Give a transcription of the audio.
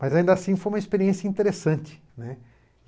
Mas, ainda assim, foi uma experiência interessante, né.